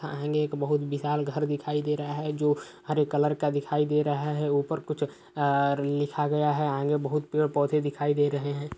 आगे एक बोहुत विशाल घर दिखाई दे रहा है जो हरे कलर का दिखाई दे रहा है। ऊपर कुछ लिखा गया है। आगे बोहुत